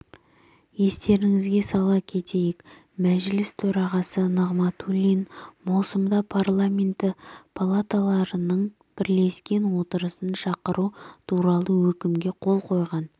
естеріңізге сала кетейік мәжіліс төрағасы нығматулин маусымда парламенті палаталарының бірлескен отырысын шақыру туралы өкімге қол қойған